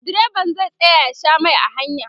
direban zai tsaya ya Sha Mai a hanya